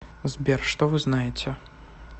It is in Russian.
сбер что вы знаете